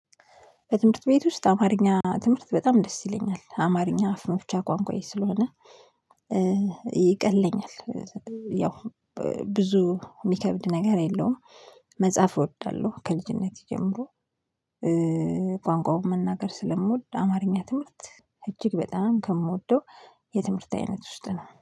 በትምህርት ቤት ውስጥ አማርኛ ትምህርት በጣም ደስ ይለኛል አማርኛ አፍ መፍቻ ቋንቋዬ ስለሆነ። ያው ብዙ የሚከብድ ነገር የለውም። መጻፍ እወዳለሁ ከልጅነቴ ጀምሮ። ቋንቋውን መናገር ስለምወድ አማርኛ ትምህርት እጅግ በጣም ከምወደው። የትምህርት አይነት ውስጥ ነው